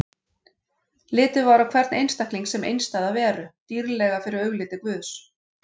Litið var á hvern einstakling sem einstæða veru, dýrlega fyrir augliti Guðs.